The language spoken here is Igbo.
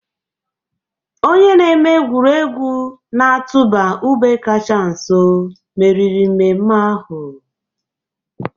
Onye na-eme egwuregwu na-atụba ube kacha nso meriri mmemme ahụ.